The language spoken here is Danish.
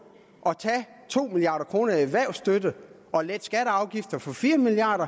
at tage to milliard kroner i erhvervsstøtte og lette skatteafgifter for fire milliard